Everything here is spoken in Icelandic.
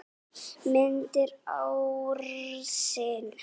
Myndir ársins